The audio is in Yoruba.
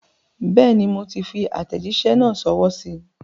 Bẹ́ẹ̀ni, moti fi àtẹ̀jísẹ́ náà sọwọ́ síí.